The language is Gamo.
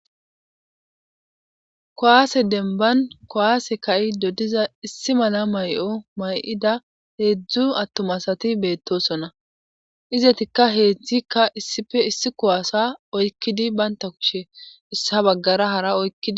kowaase demban kowaase ka7i dodiza issi mala may7o may7ida heedzdzu attomasati beettosonna izetikka heedzdzikka issife issi kowaasa oykkidi baynta kushe issa baggara hara oykkidi